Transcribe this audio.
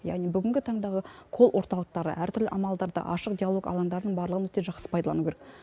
яғни бүгінгі таңдағы кол орталықтары әртүрлі амалдарды ашық диалог алаңдардың барлығын өте жақсы пайдалану керек